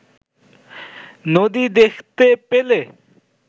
নদী দেখতে পেলে